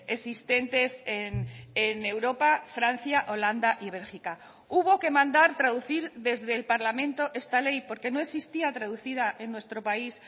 existentes en europa francia holanda y bélgica hubo que mandar traducir desde el parlamento esta ley porque no existía traducida en nuestro país